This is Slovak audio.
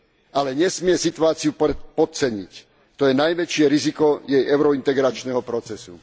Ale nesmie situáciu podceniť, to je najväčšie riziko jej eurointegračného procesu.